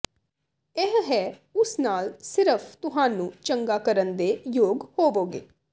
ਇਹ ਹੈ ਉਸ ਨਾਲ ਸਿਰਫ ਤੁਹਾਨੂੰ ਚੰਗਾ ਕਰਨ ਦੇ ਯੋਗ ਹੋਵੋਗੇ